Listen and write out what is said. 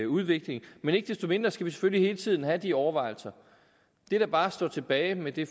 udvikling men ikke desto mindre skal vi selvfølgelig hele tiden have de overvejelser det der bare står tilbage med det